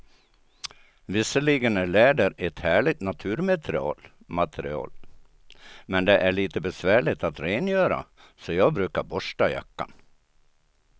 Visserligen är läder ett härligt naturmaterial, men det är lite besvärligt att rengöra, så jag brukar borsta jackan.